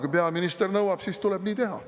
Kui peaminister nõuab, siis tuleb nii teha.